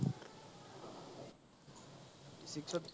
six to